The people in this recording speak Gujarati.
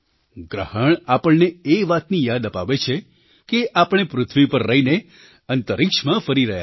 ગ્રહણ આપણને એ વાતની યાદ અપાવે છે કે આપણે પૃથ્વી પર રહીને અંતરિક્ષમાં ફરી રહ્યા છે